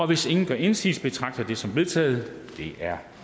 hvis ingen gør indsigelse betragter jeg det som vedtaget det er